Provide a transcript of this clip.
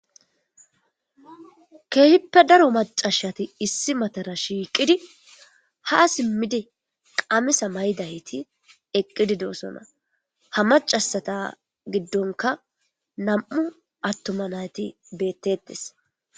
Keehippe daro macashati issi matara shiiqidi ha simmidi qamisa maydayti eqqidi deosona ha macasata giddonka nam7u attoma nayti bettetes